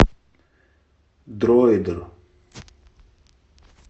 дройдер